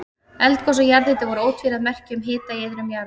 Eldgos og jarðhiti voru ótvíræð merki um hita í iðrum jarðar.